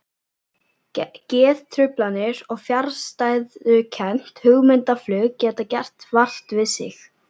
Geðtruflanir og fjarstæðukennt hugmyndaflug geta gert vart við sig.